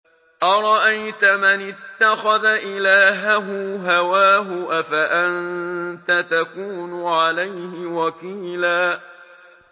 أَرَأَيْتَ مَنِ اتَّخَذَ إِلَٰهَهُ هَوَاهُ أَفَأَنتَ تَكُونُ عَلَيْهِ وَكِيلًا